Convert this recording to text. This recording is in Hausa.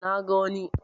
Na ga wani